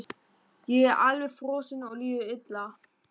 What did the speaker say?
Ég er alveg frosinn og líður illa.